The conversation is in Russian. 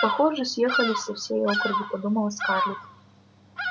похоже съехались со всей округи подумала скарлетт